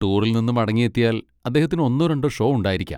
ടൂറിൽ നിന്ന് മടങ്ങിയെത്തിയാൽ അദ്ദേഹത്തിന് ഒന്നോ രണ്ടോ ഷോ ഉണ്ടായിരിക്കാം.